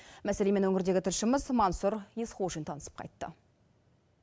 мәселемен өңірдегі тілшіміз мансұр есқожин танысып қайтты